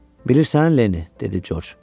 Bilirsən, Lenni, dedi Corc.